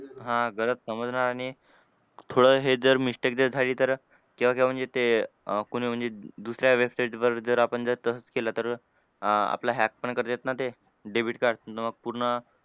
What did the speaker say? हां गलत समजणं आणि थोडं हे जर mistake जर झाली तर केव्हा केव्हा म्हणजे ते कुणी म्हणजे दुसऱ्या website वर जर आपण जर तसंच केलं तर आपला hack पण करतात ना ते. Debit card तुमचं पूर्ण,